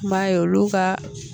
N m'a ye, olu ka